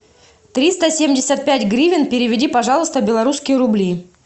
триста семьдесят пять гривен переведи пожалуйста в белорусские рубли